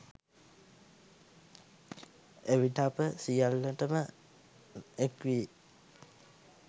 එවිට අප සියල්ලට ම එක් වී